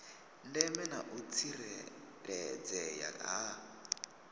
ndeme na u tsireledzea ha